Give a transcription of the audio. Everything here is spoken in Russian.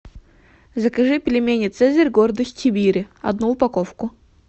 закажи пельмени цезарь гордость сибири одну упаковку